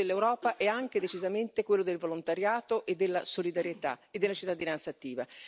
Il volto dell'Europa è anche decisamente quello del volontariato, della solidarietà e della cittadinanza attiva.